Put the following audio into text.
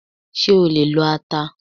Ṣé o lè lo ata?